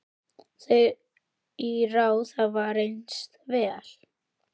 Þau ráð hafa reynst vel.